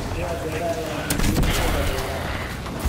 Guryaha beeraha ayaa muhiim u ah beeraha.